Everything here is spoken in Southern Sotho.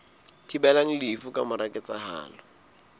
thibelang lefu ka mora ketsahalo